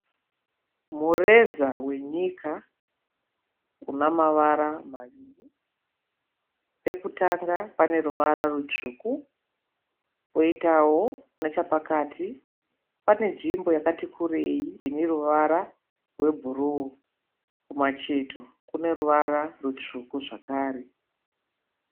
Mureza wenyika una mavara maviri. Pekutanga pane ruvara rutsvuku, poitawo nechapakati pane nzvimbo yakati kureyi ine ruvara rwe bhuruu. Kumacheto kune ruvara ritsvuku zvakare.